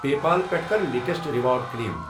پے پال پٮ۪ٹھٕ کَر لیٹیسٹ ریوارڑ کٕلیم۔